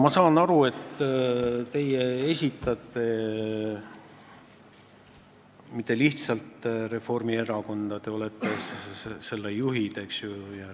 Ma saan aru, et teie ei esinda mitte lihtsalt Reformierakonda, te olete selle juhtide hulgas.